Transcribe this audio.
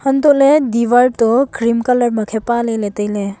hantohley diwar to cream colour ma khe paley tailey.